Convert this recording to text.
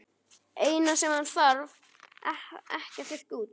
Eina sem hann þarf ekki að þurrka út.